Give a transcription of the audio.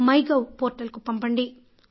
MyGov పోర్టల్కి పంపండి